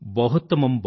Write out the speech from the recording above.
బహుత్తమమ్